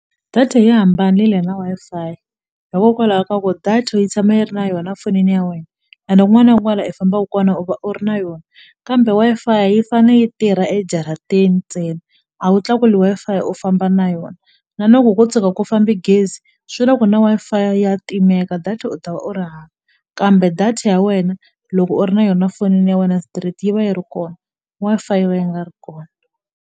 Data yi hambanile na Wi-Fi hikokwalaho ka ku data yi tshama yi ri na yona fonini ya wena ende kun'wana i fambaku kona u va u ri na yona kambe Wi-Fi yi fane yi tirha ejaratini ntsena a wu tlakuli Wi-Fi u famba na yona na loko ko tshuka ku fambe gezi swi la ku na Wi-Fi ya timeka data u ta u ri hava kambe data ya wena loko u ri na yona fonini ya wena straight yi va yi ri kona W-Fi yi va yi nga ri kona.